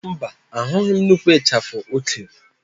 Mba, ahụghị m nnukwu ịchafụ o kere.